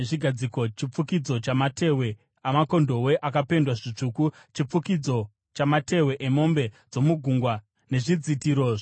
chifukidzo chamatehwe amakondobwe akapendwa zvitsvuku, chifukidzo chamatehwe emombe dzomugungwa nezvidzitiro zvokudzivirira;